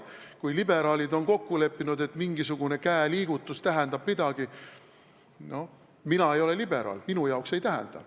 Kui liberaalid on kokku leppinud, et mingisugune käeliigutus tähendab midagi, siis noh, mina ei ole liberaal, minu arvates see seda ei tähenda.